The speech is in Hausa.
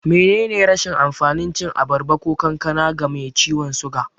Menene rashin amfanin cin abarba ko kankana ga mai ciwan suga?